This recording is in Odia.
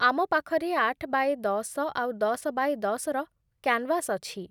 ଆମ ପାଖରେ ଆଠ ବାୟେ ଦଶ ଆଉ ଦଶ ବାୟେ ଦଶ ର କ୍ୟାନ୍‌ଭାସ୍ ଅଛି ।